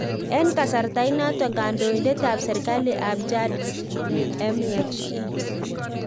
Eng kasarta inato, kandoitet ap serkalit ap chad mhe